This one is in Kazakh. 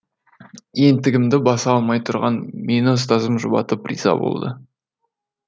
ентігімді баса алмай тұрған мені ұстазым жұбатып риза болды